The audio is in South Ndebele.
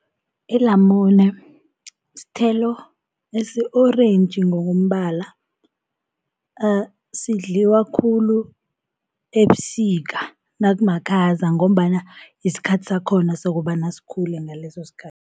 Ilamune sithelo esi-orentji ngokombala, sidliwa khulu ebusika nakumakhaza, ngombana yisikhathi sakhona sokobana sikhule ngaleso sikhathi.